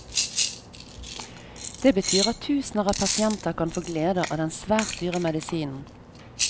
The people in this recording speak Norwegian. Det betyr at tusener av pasienter kan få glede av den svært dyre medisinen.